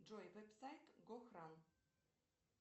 джой веб сайт гохран